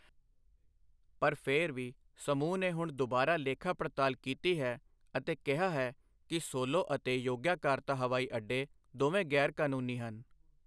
ਪਰ ਫਿਰ ਵੀ, ਸਮੂਹ ਨੇ ਹੁਣ ਦੁਬਾਰਾ ਲੇਖਾ ਪੜਤਾਲ ਕੀਤੀ ਹੈ ਅਤੇ ਕਿਹਾ ਹੈ ਕਿ ਸੋਲੋ ਅਤੇ ਯੋਗਯਾਕਾਰਤਾ ਹਵਾਈ ਅੱਡੇ ਦੋਵੇਂ ਗੈਰ ਕਾਨੂੰਨੀ ਹਨ।